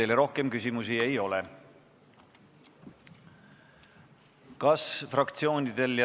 Teile rohkem küsimusi ei ole.